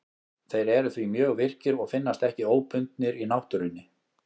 Þeir eru því mjög virkir og finnast ekki óbundnir í náttúrunni.